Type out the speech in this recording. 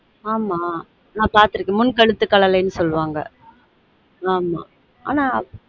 ஆமா நான் பார்த்துருக்கன் முன் கழுத்து கழலை நு சொல்வாங்க ஆமா ஆனா